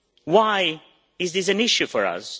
Why is this an issue for us?